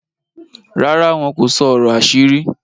ràrá wọn kò sọ ọrọ àṣírí?